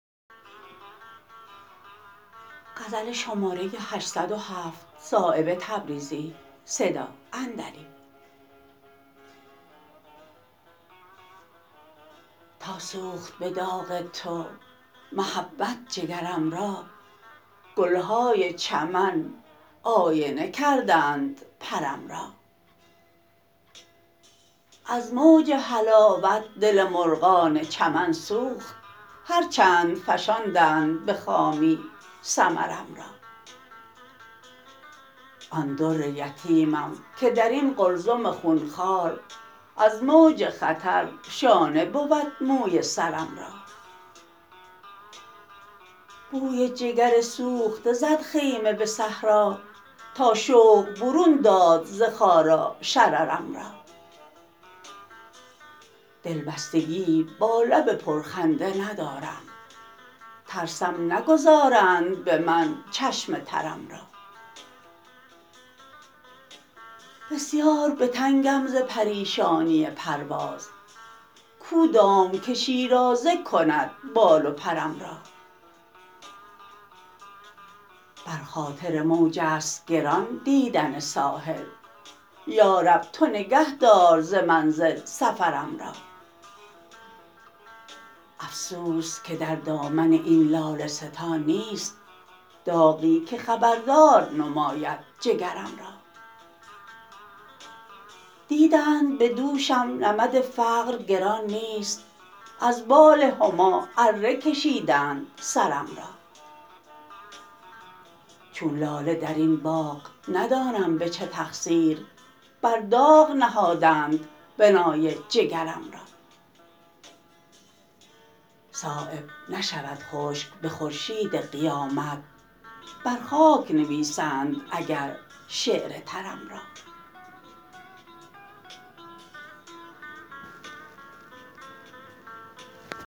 تا سوخت به داغ تو محبت جگرم را گلهای چمن آینه کردند پرم را از موج حلاوت دل مرغان چمن سوخت هر چند فشاندند به خامی ثمرم را آن در یتیمم که درین قلزم خونخوار از موج خطر شانه بود موی سرم را بوی جگر سوخته زد خیمه به صحرا تا شوق برون داد ز خارا شررم را دلبستگیی با لب پرخنده ندارم ترسم نگذارند به من چشم ترم را بسیار به تنگم ز پریشانی پرواز کو دام که شیرازه کند بال و پرم را بر خاطر موج است گران دیدن ساحل یارب تو نگه دار ز منزل سفرم را افسوس که در دامن این لاله ستان نیست داغی که خبردار نماید جگرم را دیدند به دوشم نمد فقر گران نیست از بال هما اره کشیدند سرم را چون لاله درین باغ ندانم به چه تقصیر بر داغ نهادند بنای جگرم را صایب نشود خشک به خورشید قیامت بر خاک نویسند اگر شعر ترم را